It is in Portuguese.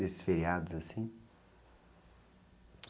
Desses feriados, assim?